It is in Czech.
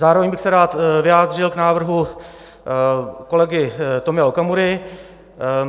Zároveň bych se rád vyjádřil k návrhu kolegy Tomia Okamury.